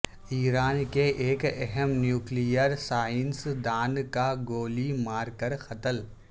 ایران کے ایک اہم نیوکلیئر سائنس دان کا گولی مار کر قتل